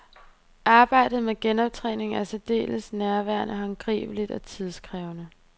Arbejdet med genoptræningen er særdeles nærværende, håndgribeligt og tidskrævende.